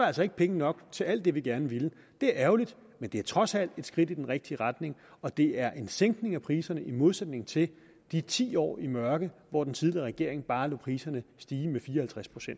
altså ikke penge nok til alt det vi gerne ville det er ærgerligt men det er trods alt et skridt i den rigtige retning og det er en sænkning af priserne i modsætning til i de ti år i mørke hvor den tidligere regering bare lod priserne stige med fire